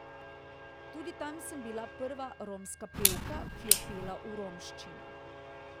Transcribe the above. Tudi tam sem bila prva romska pevka, ki je pela v romščini.